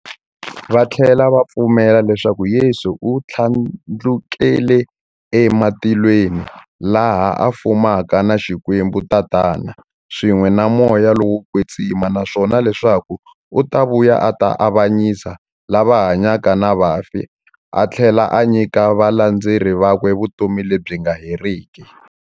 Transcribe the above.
Vathlela va pfumela leswaku Yesu u thlandlukele ematilweni, laha a fumaka na Xikwembu-Tatana, swin'we na Moya lowo kwetsima, naswona leswaku u ta vuya a ta avanyisa lava hanyaka na vafi athlela a nyika valandzeri vakwe vutomi lebyi nga heriki.